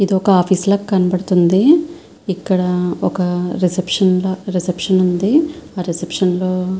ఇది ఒక ఆఫీసు లాగా కనపడతుంది ఇక్కడ రిసెప్షన్ ఒక రిసెప్షన్ ఉంది ఆ రిసెప్షన్ లో--